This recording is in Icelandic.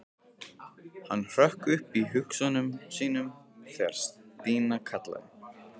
Hann hrökk upp úr hugsunum sínum þegar Stína kallaði.